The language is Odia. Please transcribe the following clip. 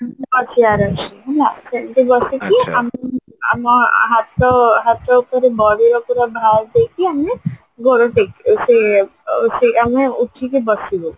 ମୋ ଚିଆରରେ ଅଛି ହେଲା ସେଇଠି ବସିକି ଆମ ଆମ ହାତ ଉପରେ body ଉପରେ ଭାର ଦେଇକି ଆମେ ଗୋଡ ଟେକି ସେଇ ଆମେ ଆମେ ଉଠିକି ବସିବେ